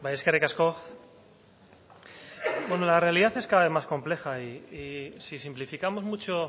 eskerrik asko bueno la realidad es cada vez más compleja y si simplificamos mucho